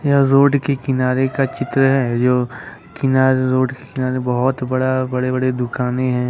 यह रोड के किनारे का चित्र है जो किनारे रोड के किनारे बहुत बड़े बड़े दुकानें हैं।